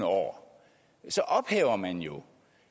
år så ophæver man jo